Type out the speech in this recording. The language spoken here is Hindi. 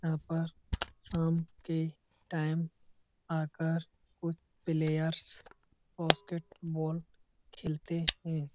यहॉं पर शाम के टाइम आकर कुछ प्लेयर्स बास्केटबॉल खेलते हैं।